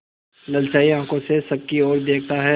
ललचाई आँखों से सबकी और देखता है